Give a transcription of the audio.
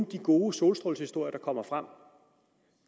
de gode solstrålehistorier der kommer frem